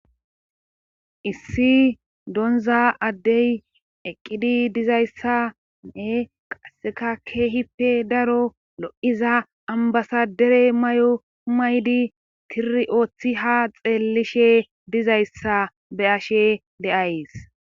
issi donza addey eqqidi dizayssae qaseka keehipe daro lo7iza ambasadere may7o maydi tiri ooththi ha xeellishe dizayssa be ashe deays